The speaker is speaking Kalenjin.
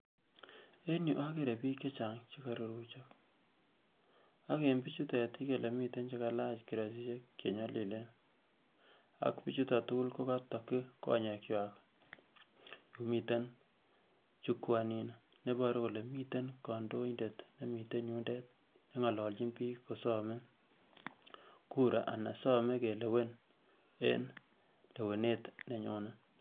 en yuu akere biik chechang chekoruruchok ak eng bichutet ikere ile miten chekalach kiroisisiek chenyolilen ak bichuton tukul kokotokyi konyekwak yumiten jukwaa inino neiboru kole miten kandoindet nengololchin biik kosome kura anan some kelewen en lewenet nenyone